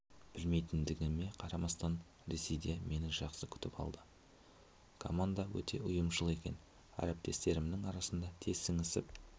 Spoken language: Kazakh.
білмейтіндігіме қарамастан ресейде мені жақсы күтіп алды команда өте ұйымшыл екен әріптестерімнің арқасында тез сіңісіп